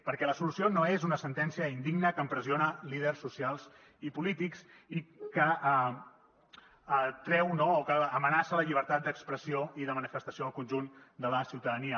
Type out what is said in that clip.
perquè la solució no és una sentència indigna que empresona líders socials i polítics i que amenaça la llibertat d’expressió i de manifestació del conjunt de la ciutadania